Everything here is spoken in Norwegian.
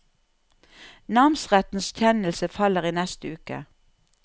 Namsrettens kjennelse faller i neste uke.